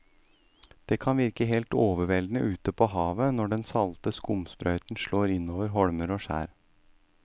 Det kan virke helt overveldende ute ved havet når den salte skumsprøyten slår innover holmer og skjær.